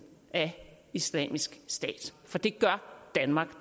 af islamisk stat for det gør danmark